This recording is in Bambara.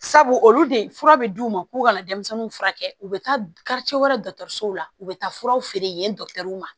Sabu olu de fura bɛ d'u ma u k'u kana denmisɛnninw furakɛ u bɛ taa wɛrɛ la u bɛ taa furaw feere yen dɔ ma